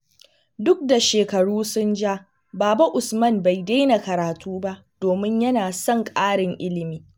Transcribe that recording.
Duk da shekaru sun ja, Baba Usman bai daina karatu ba domin yana son ƙarin ilimi.